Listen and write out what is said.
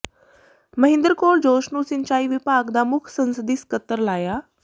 ਮਹਿੰਦਰ ਕੌਰ ਜੋਸ਼ ਨੂੰ ਸਿੰਚਾਈ ਵਿਭਾਗ ਦਾ ਮੁੱਖ ਸੰਸਦੀ ਸਕੱਤਰ ਲਾਇਆ